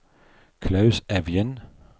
Klaus Evjen